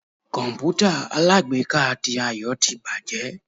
kọǹpútà alágbèéká tí Ayo tí bajé